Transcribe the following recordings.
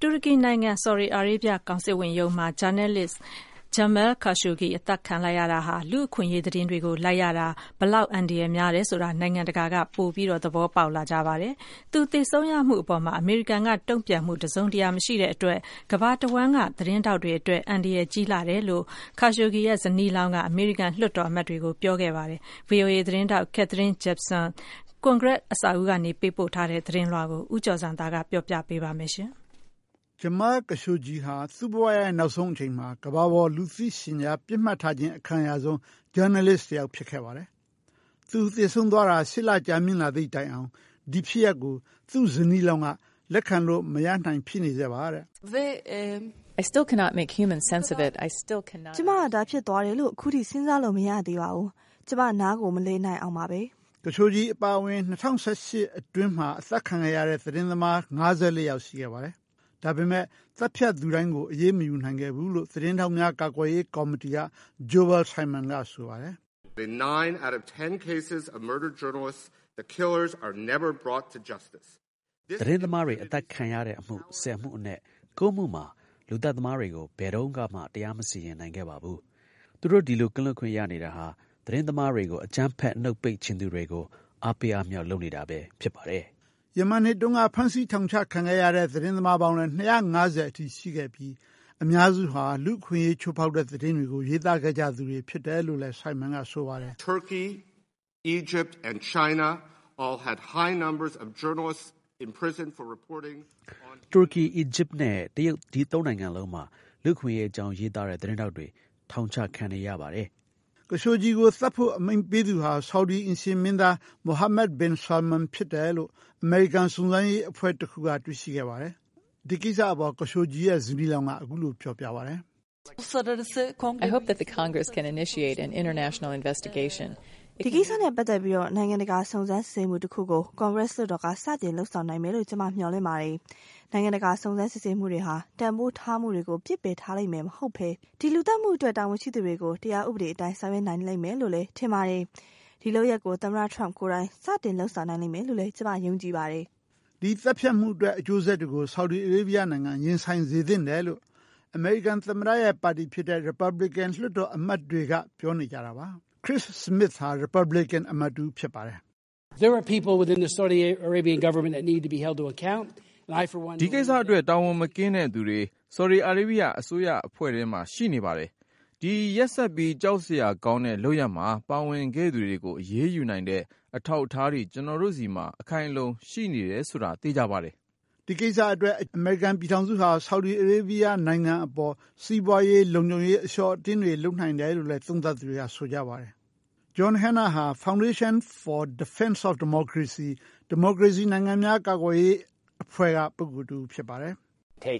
တူရကီနိုင်ငံ၊ ဆော်ဒီအာရေးဗျကောင်စစ်ဝန်ရုံးမှာ ဂျာနယ်လစ် Jamal Khashoggi အသတ်ခံလိုက်ရတာဟာ လူ့အခွင့်အရေးသတင်းတွေကို လိုက်ရတာ ဘယ်လောက် အန္တရာယ်များတယ်ဆိုတာ နိုင်ငံတကာက ပိုမိုသဘောပေါက်လာကြပါတယ်။ သူ သေဆုံးရမှုအပေါ် အမေရိကန်က တုံ့ပြန်မှု တစုံတရာမရှိတဲ့အတွက် ကမ္ဘာတဝှမ်းက သတင်းထောက်တွေအတွက် အန္တရာယ်ကြီးလှတယ်လို့ Khashoggi ရဲ့ ဇနီးလောင်းက အမေရိကန် လွှတ်တော်အမတ်တွေကို ပြောကြားခဲ့ပါတယ်။ ဗွီအိုအေသတင်းထောက် Katherine Gypson က ကွန်ဂရက်အဆောက်အဦးကနေ ပေးပို့တဲ့သတင်းလွှာကို ဦးကျော်ဇံသာက ပြောပြပေးပါမယ်။ Jamal Khashoggi ဟာ သူ့ဘဝရဲ့နောက်ဆုံးအချိန်မှာ ကမ္ဘာပေါ် လူသိရှင်ကြားပစ်မှားထားခြင်း အခံရဆုံး ဂျနယ်လစ်တယောက် ဖြစ်နေခဲ့ပါတယ်။ သူ သေဆုံးသွားတာ ၈ လကြာမြင့်လာသည့်တိုင်အောင် ဒီဖြစ်ရပ်ကို သူ့ဇနီးလောင်းက လက်ခံလို့ မရနိုင်ဆဲ ဖြစ်နေတယ်လို့ ဆိုပါတယ်။ “ကျမက ဒါဖြစ်သွားတယ်လို့ အခုထိ စဉ်းစားလို့ မရသေးပါဘူး။ ကျမ နားကို မလည်နိုင်အောင်ပါပဲ။” Khashoggi အပါအဝင် ၂၀၁၈ မှာ အသတ်ခံခဲ့ရတဲ့ သတင်းသမား ၅၄ ယောက် ရှိခဲ့ပါတယ်။ ဒါပေမယ့် သတ်ဖြတ်သူတိုင်းကို အရေးမယူနိုင်ခဲ့ဘူးလို့ သတင်းထောက်များ ကာကွယ်ရေးကော်မတီက Joel Simon က ဆိုပါတယ်။ “သတင်းသမားတွေ အသတ်ခံတဲ့အမှု ၁၀ အနက် ၉ မှုမှာ လူသတ်သမားတွေကို ဘယ်တုန်းကမှ တရားမစီရင်နိုင်ခဲ့ပါဘူး။ သူတို့ ဒီလိုကင်းလွတ်ခွင့်ရနေတာဟာ သတင်းသမားတွေကို အကြမ်းဖက် နှုတ်ပိတ်ချင်သူတွေကို အားပေး အားမြှောက်လုပ်နေတာပဲဖြစ်ပါတယ်။” ယမန်နှစ်တုန်းက ဖမ်းဆီးထောင်ချခံခဲ့ရတဲ့ သတင်းသမားပေါင်းလည်း ၂၅၀ အထိ ရှိခဲ့ပြီး အများစုဟာ လူ့အခွင့်အရေးချိုးဖောက်တဲ့သတင်းတွေကို ရေးသားခဲ့ကြသူတွေဖြစ်တယ်လို့လည်း Simon က ဆိုပါတယ်။ “တူရကီ၊ အီဂျစ်နဲ့တရုတ် ဒီသုံးနိုင်ငံလုံးမှာ လူ့အခွင့်အရေးအကြောင်း ရေးသားတဲ့သတင်းထောက်တွေ ထောင်ချခံနေရပါတယ်။” Khashoggi ကို သတ်ဖို့ အမိန့်ပေးခဲ့သူဟာ ဆော်ဒီအိမ်ရှေ့မင်းသား Mohammed Bin Salman ဖြစ်တယ်လို့ အမေရိကန် စုံစမ်းစစ်ဆေးရေး အဖွဲ့တခုက တွေ့ရှိခဲ့ပါတယ်။ ဒီကိစ္စနဲ့ပတ်သက်ပြီး Khashoggi ရဲ့ဇနီးလောင်းက အခုလို ပြောပါတယ်။ “ဒီကိစ္စနဲ့ပတ်သက်ပြီး နိုင်ငံတကာ စုံစမ်းစစ်ဆေးမှု တခုကို ကွန်ဂရက်လွှတ်တော်က စတင် လုပ်ဆောင်နိုင်မယ်လို့ ကျမ မျှော်လင့်ပါတယ်။ နိုင်ငံတကာ စုံစမ်းစစ်ဆေးမှုတွေဟာ တန်ဖိုးထားမှုတွေကို ပစ်ပယ်ထားလိမ့်မယ် မဟုတ်ဘဲ ထင်ပါတယ်။ ဒီလူသတ်မှုအတွက် တာဝန်ရှိသူတွေကို တရားဥပဒေအတိုင်း ဆောင်ရွက်နိုင်လိမ့်မယ်လို့ ထင်ပါတယ်။ ဒီလုပ်ရပ်ကို သမ္မတ ထရမ့်ကိုယ်တိုင် စတင်လုပ်ဆောင်နိုင်လိမ့်မယ်လို့လည်း ကျမ ယုံကြည်ပါတယ်။” ဒီသတ်ဖြတ်မှုအတွက် အကျိုးဆက်တွေကို ဆော်ဒီအာရေးဗျနိုင်ငံ ရင်ဆိုင်စေသင့်တယ်လို့ အမေရိကန်သမ္မတရဲ့ပါတီဖြစ်တဲ့ ရီပတ်ဘလီကင်လွှတ်တော်အမတ်တွေက ပြောနေကြတာပါ။ Chris Smith ဟာ ရီပတ်ဘလီကင် အမတ်တဦး ဖြစ်ပါတယ်။ “ဒီကိစ္စအတွက် တာဝန်မကင်းတဲ့သူတွေ ဆော်ဒီအာရေးဗျ အစိုးရအဖွဲ့ထဲမှာ ရှိနေပါတယ်။ ဒီရက်စက်ပြီး ကြောက်စရာ ကောင်းတဲ့ လုပ်ရပ်မှာ ပါဝင်ခဲ့သူတွေကို အရေးယူနိုင်တဲ့ အထောက်အထားတွေ ကျနော်တို့ဆီမှာ အခိုင်အလုံ ရှိနေတယ် ဆိုတာ သေချာပါတယ်။” ဒီကိစ္စအတွက် အကျိုးဆက်တွေအဖြစ် အမေရိကန်ပြည်ထောင်စုဟာ ဆော်ဒီအာရေးဗျ နိုင်ငံအပေါ် စီးပွားရေး၊ လုံခြုံရေးအရ အလျှော့အတင်းတွေ လုပ်နိုင်တယ်လို့လည်း သုံးသပ်သူတွေက ဆိုကြပါတယ်။ John Hannah ဟာ Foundation for Defense of Democracies အဖွဲ့က ဖြစ်ပါတယ်။ “တနှ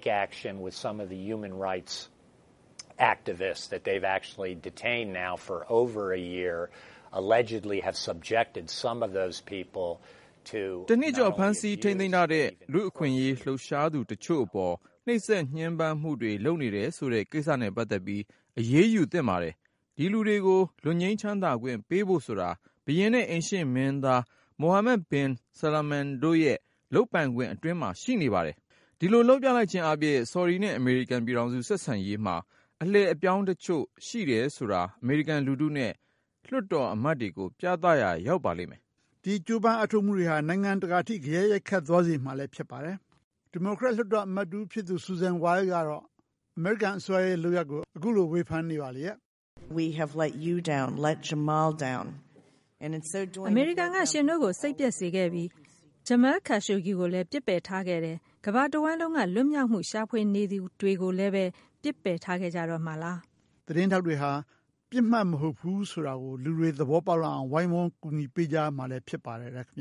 စ်ကျော် ဖမ်းဆီးထိန်းသိမ်းထားတဲ့ လူ့အခွင့်အရေးလှုပ်ရှားသူ တချို့အပေါ် နှိပ်စက်ညှင်းပမ်းမှုတွေ လုပ်နေတယ်ဆိုတဲ့ ကိစ္စနဲ့ပတ်သက်ပြီး အရေးယူသင့်ပါတယ်။ ဒီလူတွေကို လွတ်ငြိမ်းချမ်းသာခွင့်ပေးဖို့ဆိုတာ ဘုရင်နဲ့ အိမ်ရှေ့ မင်းသား Mohammed Bin Salman တို့ရဲ့လုပ်ပိုင်ခွင့် အတွင်းမှာရှိနေပါတယ်။ ဒီလို လုပ်ပြလိုက်ခြင်းအားဖြင့် ဆော်ဒီနဲ့ အမေရိကန် ပြည်ထောင်စု ဆက်ဆံရေးမှာ အလှည့်အပြောင်း တချို့ ရှိတယ်ဆိုတာ အမေရိကန်လူထုနဲ့ လွှတ်တော်အမတ်တွေကို ပြသရာ ရောက်ပါလိမ့်မယ်။” နိုင်ငံတကာ ထိ ဂယက်ရိုက်ခတ်စေရမှာဖြစ်ပါတယ်... ဒီမိုကရက်အမတ် Susam Wild ကတော့အခုလိုဆော်သြနေပါတယ်။ “အမေရိကန်က ရှင်တို့ကို နစ်နာစေခဲ့ပြီ။ Jamal Khashoggi ကိုလည်း ပစ်ပယ်ထားခဲ့တယ်။ ကမ္ဘာတဝှမ်းလုံးက လွတ်မြောက်မှု ရှာဖွေနေသူတွေကိုလည်းပဲ ပစ်ပယ်ထားခဲ့ကြတော့မှာလား။” သတင်းထောက်တွေဟာ ပစ်မှတ်မဟုတ်ဘူးဆိုတာ လူတွေ သဘောပေါက်လာအောင် ဝိုင်းဝန်းအကူအညီပေးကြရမှာ ဖြစ်ပါတယ်ခင်ဗျာ